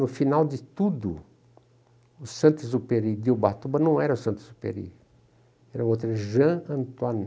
No final de tudo, o Santos Uperi de Ubatuba não era o Santos Uperi, era o outro Jean Antoine.